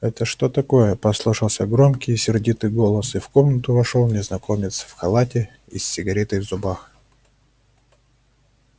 это что такое послышался громкий сердитый голос и в комнату вошёл незнакомец в халате и с сигаретой в зубах